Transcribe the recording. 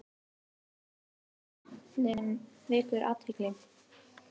Íslenski skálinn vekur athygli